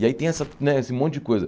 E aí tem essa né esse monte de coisa.